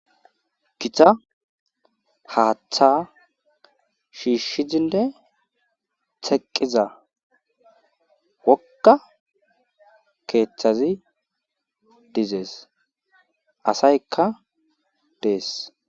Githa haatha shiishidinne teqqiza wogga keethazi dizees asaykka dees.